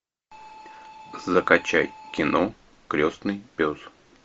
закачай кино крестный пес